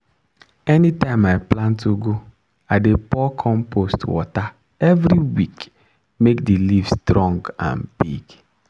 anytime i plant ugu i dey pour compost water every week make the leaf strong and big.